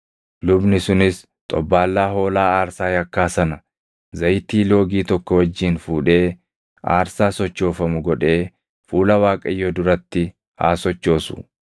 Lubni sunis xobbaallaa hoolaa aarsaa yakkaa sana zayitii loogii tokko wajjin fuudhee aarsaa sochoofamu godhee fuula Waaqayyoo duratti haa sochoosu.